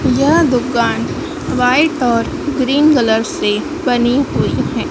यह दुकान व्हाइट और ग्रीन कलर से बनी हुई हैं।